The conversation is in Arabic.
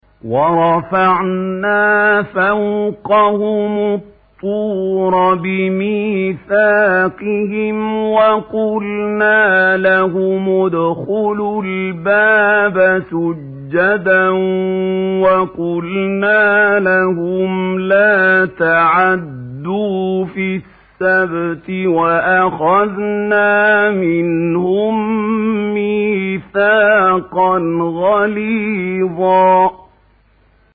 وَرَفَعْنَا فَوْقَهُمُ الطُّورَ بِمِيثَاقِهِمْ وَقُلْنَا لَهُمُ ادْخُلُوا الْبَابَ سُجَّدًا وَقُلْنَا لَهُمْ لَا تَعْدُوا فِي السَّبْتِ وَأَخَذْنَا مِنْهُم مِّيثَاقًا غَلِيظًا